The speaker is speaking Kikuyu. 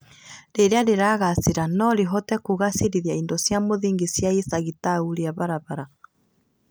Rĩrĩa rĩragacĩra no rĩhote kũagĩrithia indo cia mũthingi cia icagi ta ũrĩa barabara